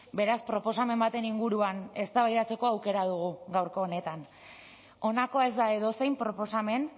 beraz proposamen baten inguruan eztabaidatzeko aukera dugu gaurko honetan honakoa ez da edozein proposamen